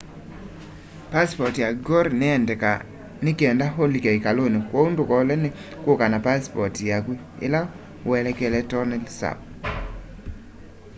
pass ya angkor niyendekaa nikenda ulike ikaluni kwoou ndukolwe ni kuka na pasipoti yaku ila uelekele tonle sap